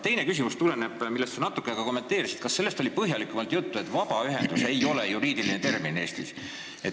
Teine küsimus tuleneb sellest, mida sa ka natuke kommenteerisid: kas teil oli põhjalikumalt juttu sellest, et "vabaühendus" ei ole Eestis juriidiline termin?